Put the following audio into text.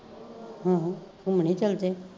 ਹਾਂ ਹਾਂ ਘੁਮੰਣੀ ਚਲਜੇ